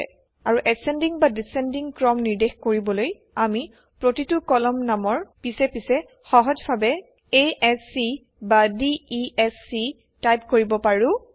আৰু বৰ্ধমান বা হ্ৰাসমান ক্ৰম নিৰ্দেশ কৰিবলৈ আমি প্ৰতিটো কলম নামৰ পিছে পিছে সহজভাৱে a s চি বা d e s c type কৰিব পাৰোঁ